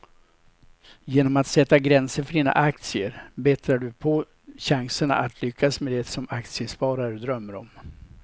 Genom att sätta gränser för dina aktier bättrar du på chanserna att lyckas med det som aktiesparare drömmer om.